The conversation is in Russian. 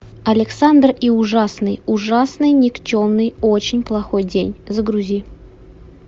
александр и ужасный ужасный никчемный очень плохой день загрузи